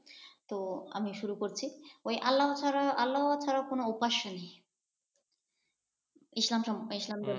তো আমি শুরু করছি। আল্লাহ ছাড়া আল্লাহ ছাড়া কোন উপাস্য নেই ইসলাম ধর্মে।